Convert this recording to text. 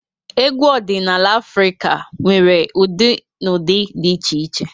Egwu ọdịnala Afrịka nwere ụdị na ụdị dị iche iche.